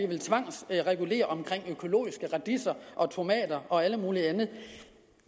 vil tvangsregulere omkring økologiske radiser og alt muligt andet